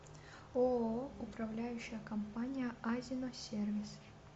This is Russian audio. ооо управляющая компания азино сервис